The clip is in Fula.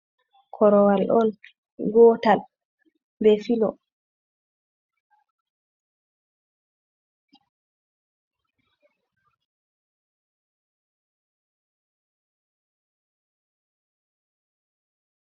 Korowal on gootal be filo.